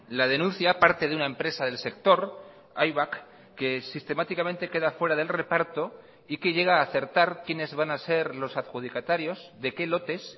la denuncia parte de una empresa del sector aibak que sistemáticamente queda fuera del reparto y que llega a acertar quiénes van a ser los adjudicatarios de qué lotes